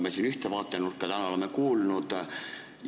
Me siin ühte vaatenurka täna oleme juba kuulnud.